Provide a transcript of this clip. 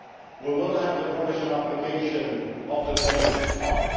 years. We will have the provisional application of the political